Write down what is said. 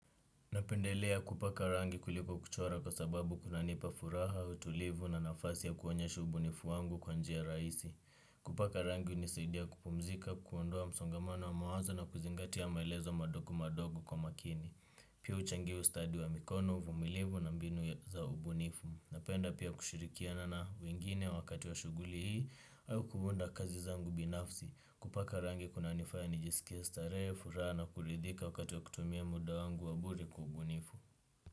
Napendelea kupaka rangi kuliko kuchora kwa sababu kunanipa furaha, utulivu na nafasi ya kuonye shubunifu wangu kwanjia rahisi. Kupaka rangi hunisidia kupumzika, kuondoa msongamano wa mawazo na kuzingatia maelezo madogu madogu kwa makini. Pia huchangia ustadi wa mikono, uvumilifu na mbinu za ubunifu. Napenda pia kushirikianana wengine wakati wa shughuli hii au kuunda kazi zangu binafsi. Kupaka rangi kunanifanya ni jisikie starehe furaha na kuridhika wakati wa kutumia muda wangu wabure kubunifu.